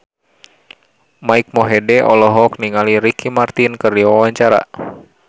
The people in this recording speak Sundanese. Mike Mohede olohok ningali Ricky Martin keur diwawancara